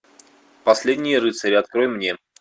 последние рыцари открой мне